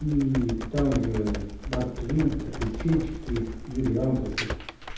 и там же марк твен приключенческий юрий андросов